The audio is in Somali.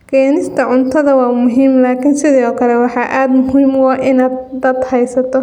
Keenista cuntada waa muhiim laakiin sidoo kale waxaa aad muhiim u ah inaad dad haysato.